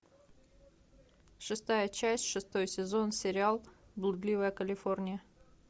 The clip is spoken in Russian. шестая часть шестой сезон сериал блудливая калифорния